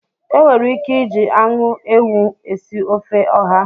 E nwere ike iji anụ ewụ esị ofe ọha